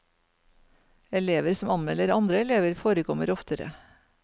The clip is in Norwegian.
Elever som anmelder andre elever, forekommer oftere.